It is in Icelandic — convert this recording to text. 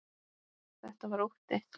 Þetta var ótti.